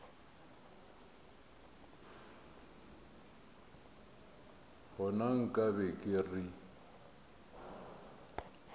gona nka be ke re